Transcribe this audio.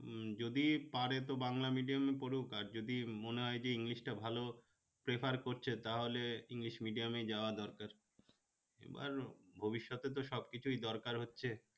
উম যদি পারে তো বাংলা medium এ পড়ুক আর যদি মনে হয় যে english টা ভালো prefer করছে তাহলে english medium এ যাওয়া দরকার এবার ভবিষ্যতে তো সবকিছুই দরকার হচ্ছে